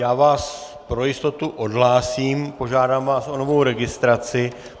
Já vás pro jistotu odhlásím, požádám vás o novou registraci.